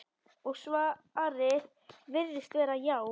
Og svarið virðist vera: já.